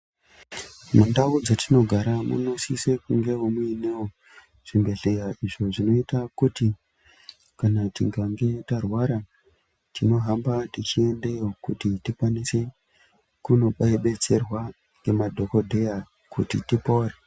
Mundau dzetinogara munosisa kunge muinewo zvibhehleya zvinoita kuti kana tikange tarwara tinohamba techiendeyo kuti tikwanise kunobetserwa nemadhokodheya kuti tipore.